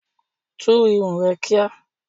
Tú irun rẹ kíá!